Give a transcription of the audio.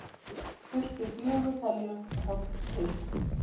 Þurfti fjögur heljarhögg til.